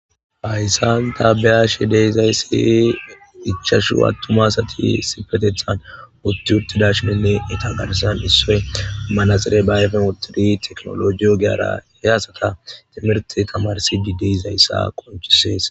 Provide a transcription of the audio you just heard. Hayssanta beyashe deyzayssi ichashu attumasati sipetethan utti uttidash minne eta gadasan issoy manaxire baayefen uttidi teknolojiyo giara hey asata timirti tamarsi di deizayssa qonchisees.